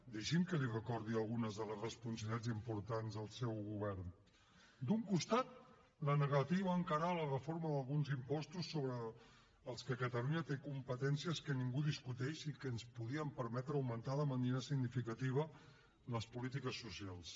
deixi’m que li recordi algunes de les responsabilitats importants del seu govern d’un costat la negativa a encarar la reforma d’alguns impostos sobre els quals catalunya té competències que ningú discuteix i que ens podrien permetre augmentar de manera significativa les polítiques socials